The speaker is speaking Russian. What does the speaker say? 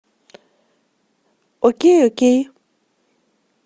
окей окей